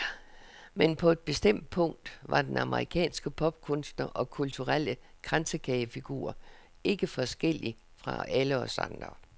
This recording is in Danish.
Men på et bestemt punkt var den amerikanske popkunstner og kulturelle kransekagefigur ikke forskellig fra alle os andre.